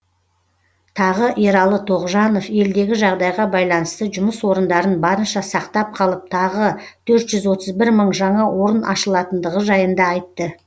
тағы ералы тоғжанов елдегі жағдайға байланысты жұмыс орындарын барынша сақтап қалып тағы төрт жүз отыз бір мың жаңа орын ашылатындығы жайында айтты